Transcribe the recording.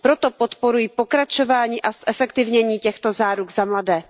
Proto podporuji pokračování a zefektivnění těchto záruk za mladé.